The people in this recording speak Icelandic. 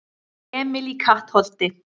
Emil í Kattholti